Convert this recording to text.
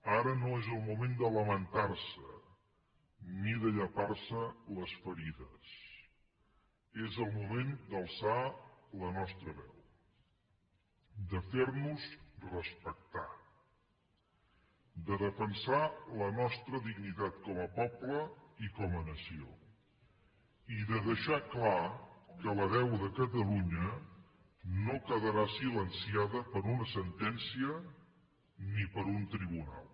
ara no és el moment de lamentar se ni de llepar se les ferides és el moment d’alçar la nostra veu de fer nos respectar de defensar la nostra dignitat com a poble i com a nació i de deixar clar que la veu de catalunya no quedarà silenciada per una sentència ni per un tribunal